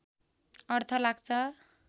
अर्थ लाग्छ